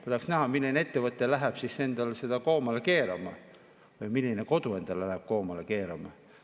Ma tahaks näha, milline ettevõte läheb seda endale koomale keerama, või milline kodu läheb endale koomale keerama.